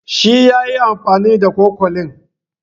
Shi ya yi amfani da cokalin.